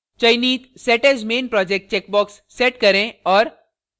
चयनित set as main project checkbox set करें और